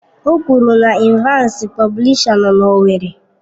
O kwuru na Evansi Publisha nọ na owerri.